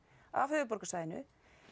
á höfuðborgarsvæðinu